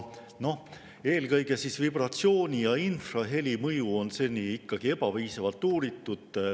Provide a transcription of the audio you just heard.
Eelkõige vibratsiooni ja infraheli mõju on seni ikkagi ebapiisavalt uuritud.